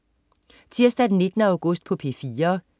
Tirsdag den 19. august - P4: